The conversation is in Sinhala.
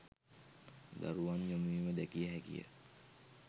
දරුවන් යොමු වීම දැකිය හැකි ය.